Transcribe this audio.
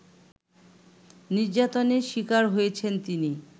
নির্যাতনের শিকার হয়েছেন তিনি